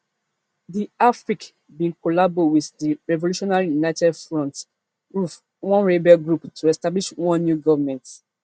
di afrc bin collabo wit di revolutionary united front ruf one rebel group to establish one new government